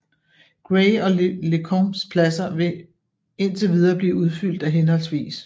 Gray og Lecompts pladser vil indtil videre blive udfyldt af hhv